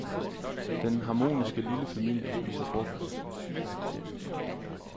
Den harmoniske lille familie spiser frokost.